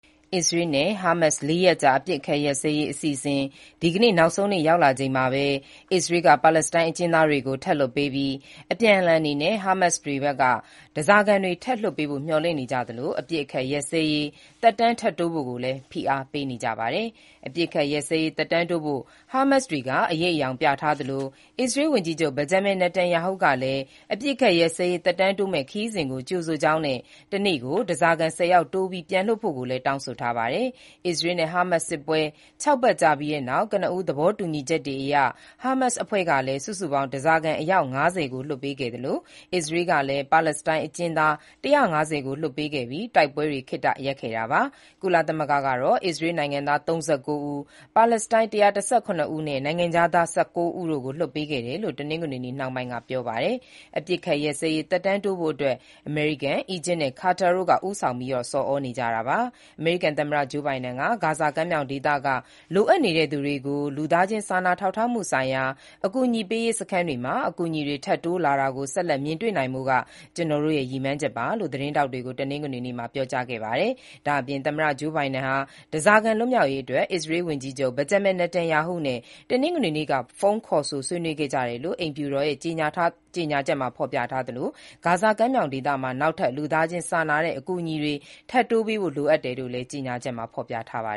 အစ္စရေးနဲ့ ဟာမတ်စ် ၄ ရက်ကြာ အပစ်အခတ်ရပ်စဲရေး အစီအစဉ် ဒီကနေ့ နောက်ဆုံးနေ့ ရောက်လာချိန်မှာပဲ အစ္စရေးက ပါလက်စတိုင်းအကျဉ်းသားတွေ ထပ်လွှတ်ပေးပြီး၊ အပြန်အလှန်အနေနဲ့ ဟာမတ်စ်တွေဖက်က ဓားစာခံတွေ ထပ်လွှတ်ပေးဖို့ မျှော်လင့်နေကြသလို၊ အပစ်အခတ် ရပ်စဲရေး သက်တမ်းထပ်တိုးဖို့လည်း ဖိအားပေးနေကြပါတယ်။ အပစ်အခတ်ရပ်စဲရေး သက်တမ်းတိုးဖို့ ဟာမတ်စ်တွေက အရိပ်အယောင်ပြထားသလို၊ အစ္စရေးဝန်ကြီးချုပ် ဘင်ဂျမင်နေတန်ယာဟုကလည်း အပစ်အခတ်ရပ်စဲရေး သက်တမ်းတိုးမယ့် အစီအစဉ်ကို ကြိုဆိုကြောင်းနဲ့ တနေ့ကို ဓားစာခံ ၁၀ ယောက်တိုးပြီး ပြန်လွှတ်ဖို့လည်း တောင်းဆိုထားပါတယ်။ အစ္စရေးနဲ့ ဟာမတ်စ်စစ်ပွဲ ၆ ပတ်ကြာ ပြီးတဲ့နောက် ကနဦးသဘောတူညီချက်တွေအရ ဟာမတ်စ်အဖွဲ့က စုစုပေါင်း ဓားစာခံ အယောက် ၅၀ ကို လွှတ်ပေးခဲ့သလို၊ အစ္စရေးကလည်း ပါလက်စတိုင်း အကျဉ်းသား ၁၅၀ ကို လွှတ်ပေးခဲ့ပြီး တိုက်ပွဲတွေ ခေတ္တရပ်ခဲ့တာပါ။ ကုလသမဂ္ဂကတော့ အစ္စရေးနိုင်ငံသား ၃၉ ဦး၊ ပါလက်စတိုင်း ၁၁၇ ဦးနဲ့ နိုင်ငံခြားသား ၁၉ ဦးတို့ကို လွှတ်ပေးခဲ့တယ်လို့ တနင်္ဂနွေနေ့နှောင်းပိုင်းက ပြောပါတယ်။ အပစ်အခတ်ရပ်စဲရေး သက်တမ်းတိုးဖို့အတွက် အမေရိကန်၊ အီဂျစ်နဲ့ ကာတာတို့က ဦးဆောင်ဆော်ဩနေကြတာပါ။ အမေရိကန်သမ္မတဂျိုးဘိုင်ဒန်က "ဂါဇာကမ်းမြောင်ဒေသက လိုအပ်နေတဲ့သူတွေကို လူသားချင်းစာနာထောက်ထားမှုဆိုင်ရာ ကယ်ဆယ်ရေးစခန်းတွေမှာ အကူအညီတွေ ထပ်တိုးလာတာကို ဆက်လက်မြင်တွေ့နိုင်ဖို့က ကျွန်တော့်ရဲ့ ရည်မှန်းချက်ပါ” လို့ သတင်းထောက်တွေကို တနင်္ဂနွေနေ့မှာ ပြောကြားခဲ့ပါတယ်။ ဒါ့အပြင် သမ္မတဂျိုးဘိုင်ဒန်ဟာ ဓားစာခံ လွတ်မြောက်ရေးအတွက် အစ္စရေးဝန်ကြီးချုပ်ဘင်ဂျမင်နေတန်ယာဟုနဲ့ တနင်္ဂနွေနေ့က ဖုန်းခေါ်ဆိုဆွေးနွေးခဲ့ကြတယ်လို့ အိမ်ဖြူတော်ရဲ့ ကြေညာထားသလို၊ ဂါဇာကမ်းမြောင်ဒေသမှာ နောက်ထပ် လူသားချင်းစာနာတဲ့ အကူအညီတွေ ထပ်တိုးပေးဖို့ လိုအပ်တယ်လို့လည်း ကြေညာချက်မှာ ဖော်ပြထားပါ